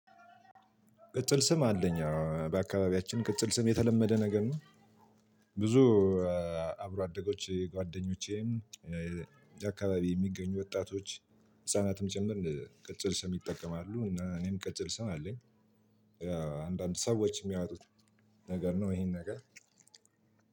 ቅጽል ስም አለኝ በአካባቢያችን ቅጽል ስም የተለመደ ነገር ነው። ብዙ አብሮ አዴጎች ጉአደኞቼ እዚህ አከባቢ ምገኙ ወጣቶች ህፃናቱም ጭምር ቅጽል ስም ይጠቀማሉ። እኔም ቅጽል ስም አለኝ። አንዳንድ ሰዎች የሚያወጡት ነገር ነው። ይሄን ነገር